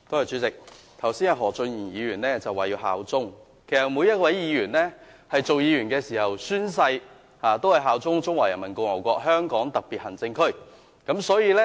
主席，何俊賢議員剛才說要效忠，其實每一位議員也宣誓效忠中華人民共和國香港特別行政區。